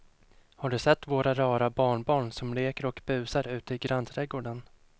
Har du sett våra rara barnbarn som leker och busar ute i grannträdgården!